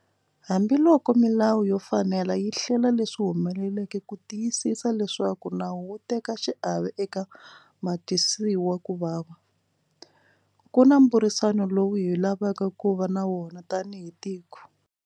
Hambiloko milawu yo fanela yi hlela leswi humeleleke ku tiyisisa leswaku nawu wu teka xiave eka vatwisiwa ku vava, ku na mbhurisano lowu hi lavaka ku va na wona tanihi tiko.